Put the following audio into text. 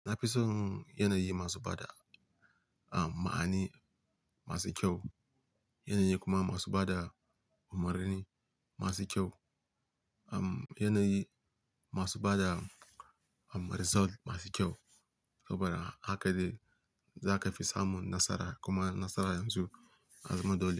Na fi son yanayi masu bada, um, ma'ani masu kyau, yanayi kuma masu bada umarni masu kyau, um, yanayi masu bada, um, result masu kyau saboda haka ne za ka fi samun nasara kuma nasara yanzu ya zama dole.